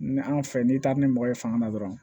Ni anw fɛ n'i taara ni mɔgɔ ye fanga na dɔrɔn